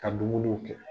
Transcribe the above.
Ka dumuniw kɛ